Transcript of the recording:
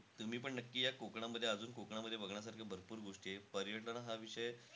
तुम्हीपण नक्की या कोकणामध्ये. अजून कोकणामध्ये बघण्यासारखं भरपूर गोष्टी आहे. पर्यटन हा विषय,